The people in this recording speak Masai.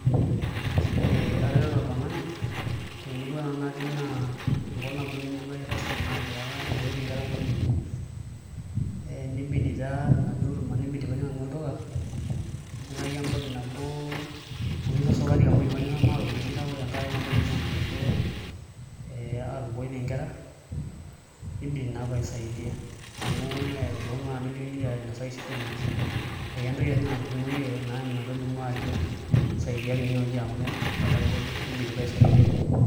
Ee atareto oltung'ani temurua nanu natii naa enkolong' nabo nainepua ai tasat naatiaka aatupukoitie nkera nkolong'i are nibidi taa tenaduo kurma nibidi pee ajing' nanu olduka naitaki embakit nabo o nusu esukari amu ijio sinanu maata iropiyiani kake ore tenkaraki enduo uruma natejo ee aatupukoitie nkera nibidi naa paaisaidia amu mee pooki naa ake duo likiliki ainasaki shida enye ekentoki ake siinye naturrumoyie ometolimu ajo saidiaki tenewueji amu etagolo nibidi paisaidia.